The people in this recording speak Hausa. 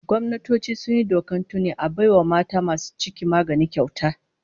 Gwamnatoci sun yi doka tuni a bai wa mata masu ciki magani kyauta